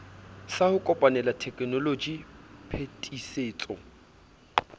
sa ho kopanela tekenoloji phetisetso